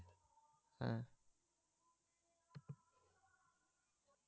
হ্যাঁ